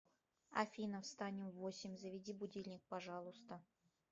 афина встанем в восемь заведи будильник пожалуйста